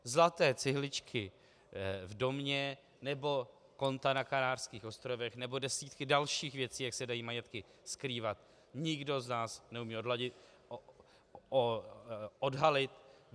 Zlaté cihličky v domě nebo konta na Kanárských ostrovech nebo desítky dalších věcí, jak se dají majetky skrývat, nikdo z nás neumí odhalit.